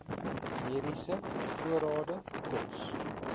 mediese voorrade kos